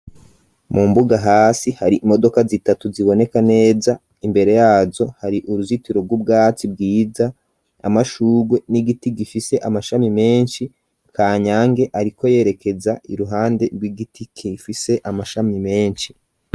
Mu mbuga hasi hari imodoka zitatu ziboneka neza, imbere yazo hari uruzitiro rw'ubwatsi bwiza, amashurwe n'igiti gifise amashami menshi. Kanyange ariko yerekeza iruhande rw'igiti gifise amashami menshi.